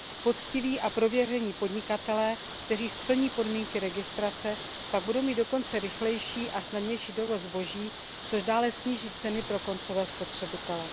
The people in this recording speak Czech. Poctiví a prověření podnikatelé, kteří splní podmínky registrace, pak budou mít dokonce rychlejší a snadnější dovoz zboží, což dále sníží ceny pro koncové spotřebitele.